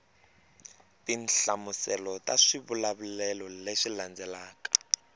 tinhlamuselo ta swivulavulelo leswi landzelaka